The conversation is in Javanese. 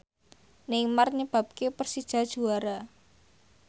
Neymar nyebabke Persija juara